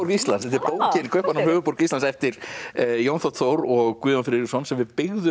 Íslands þetta er bókin Kaupmannahöfn sem höfuðborg Íslands eftir Jón þ Þór og Guðjón Friðriksson sem við byggðum